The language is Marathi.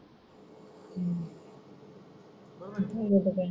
येऊ देतेत